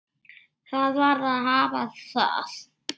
Það varð að hafa það.